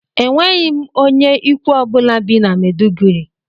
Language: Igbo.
Enweghị m onye ikwu ọ bụla bi na Mèduguri